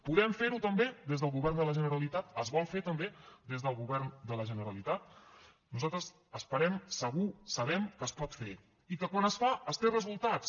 podem fer ho també des del govern de la generalitat es vol fer també des del govern de la generalitat nosaltres esperem segur sabem que es pot fer i que quan es fa es tenen resultats